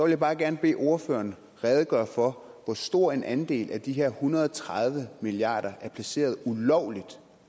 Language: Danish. jeg bare gerne bede ordføreren redegøre for hvor stor en andel af de her en hundrede og tredive milliarder er placeret ulovligt